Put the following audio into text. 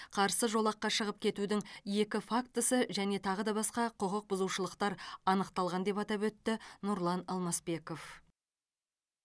қарсы жолаққа шығып кетудің екі фактісі және тағы да басқа құқық бұзушылықтар анықталған деп атап өтті нұрлан алмасбеков